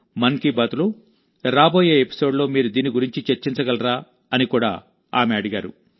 మన్ కీ బాత్లో రాబోయే ఎపిసోడ్లో మీరు దీని గురించి చర్చించగలరా అని కూడా ఆమె అడిగారు